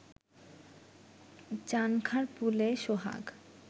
চানখার পুলের সোহাগ